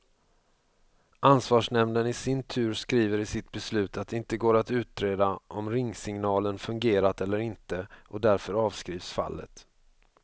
Ansvarsnämnden i sin tur skriver i sitt beslut att det inte går att utreda om ringsignalen fungerat eller inte, och därför avskrivs fallet.